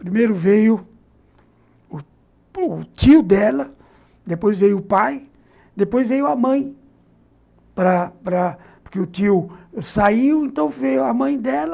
Primeiro veio o tio dela, depois veio o pai, depois veio a mãe, para para porque o tio saiu, então veio a mãe dela,